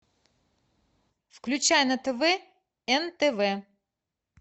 включай на тв нтв